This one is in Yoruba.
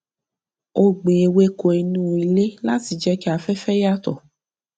ó gbìn ewéko inú ilé láti jẹ kí afẹfẹ yàtọ